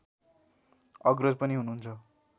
अग्रज पनि हुनुहुन्छ